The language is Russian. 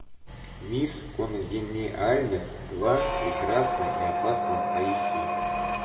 мисс конгениальность два прекрасна и опасна поищи